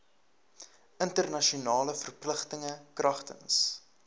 internasionale verpligtinge kragtens